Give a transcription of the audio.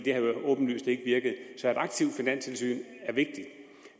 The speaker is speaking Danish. har jo åbenlyst ikke virket så et aktivt finanstilsyn er vigtigt